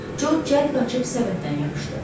Jo cəld qaçıb səbətdən yapışdı.